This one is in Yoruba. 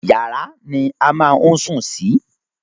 Yàrá ni a máa ń sùn sí.